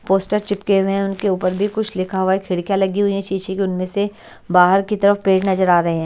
Poster चिपके हुए हैं उनके ऊपर भी कुछ लिखा हुआ है खिड़कियां लगी हुई है शीश की उनमें से बाहर की तरफ पेड़ नजर आ रहे हैं।